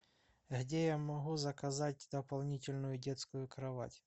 где я могу заказать дополнительную детскую кровать